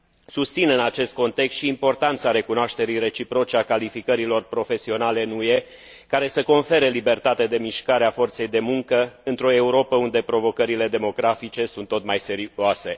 Susțin în acest context și importanța recunoașterii reciproce a calificărilor profesionale în UE, care să confere libertate de mișcare a forței de muncă într o Europă unde provocările demografice sunt tot mai serioase.